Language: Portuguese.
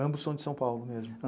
Ambos são de São Paulo mesmo?